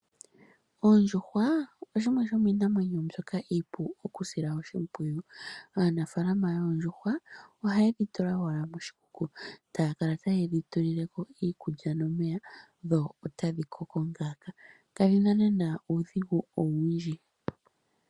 Oondjuhwa oshimwe shomiinamwenyo mbyoka iipu okusila oshimpwiyu. Aanafaalama yoondjuhwa ohaye dhi tula owala moshikuku taya kala tayedhi tulileko iikulya nomeya dho otadhi koko ngaaka, kadhina naanaa uudhigu owundji.